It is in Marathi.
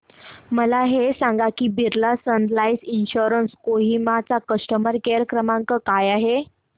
मला हे सांग की Birla sun life insurance Kohima चा कस्टमर केअर क्रमांक काय आहे